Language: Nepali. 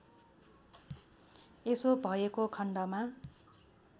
यसो भएको खण्डमा